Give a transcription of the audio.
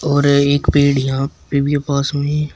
और एक पेड़ यहां पे भी पास में--